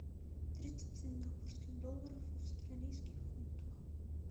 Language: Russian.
тридцать сингапурских долларов в австралийских фунтах